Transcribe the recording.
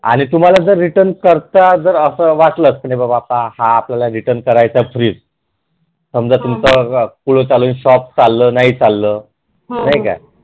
आणि जर तुम्हाला जर Return करायचा fridge समजा तुमच पुढ fridge समजा तुमचा पुढ चालुन shop नाही चाललं